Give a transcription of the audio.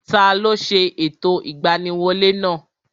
Taló ṣe ẹ̀tọ́ ìgbaniwolẹ́ náà?